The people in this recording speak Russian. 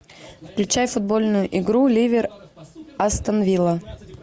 включай футбольную игру ливер астон вилла